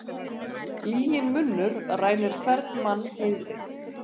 Lyginn munnur rænir hvern mann heiðri.